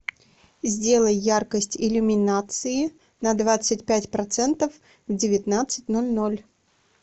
сделай яркость иллюминации на двадцать пять процентов в девятнадцать ноль ноль